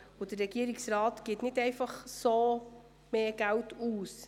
Der Regierungsrat gibt nicht einfach so mehr Geld aus.